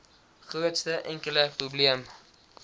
grootste enkele probleem